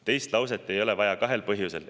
Teist lauset ei ole vaja kahel põhjusel.